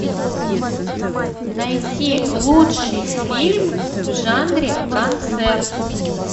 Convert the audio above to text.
найти лучший фильм в жанре концерт